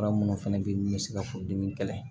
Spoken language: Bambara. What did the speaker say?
Fura minnu fana bɛ yen n'u bɛ se ka furudimi kɛlɛ